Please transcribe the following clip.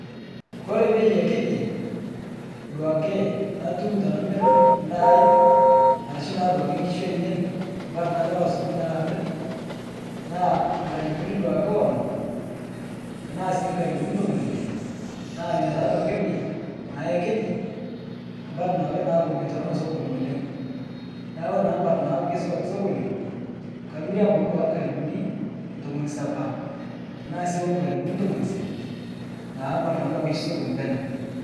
Kore bei ekiji duake natum tanamir ndaai, arashu duake nkishu ainen parr natarawaa sokoni alo amir, naa ngalupuni duake onom tanaa sii ngalupuni ntomoni ille, naa inia ta duake bei naa ekiji, mparr naa duake naaku meitorono sokoni oleng'. Naaku kore naa mpari naaku keisupat sokoni, kamire abaki duake ngalupuni ntomoni sapa tanaa sii ongalupuni ntomoni isiet naa mparr natua keishu sokoni peneu.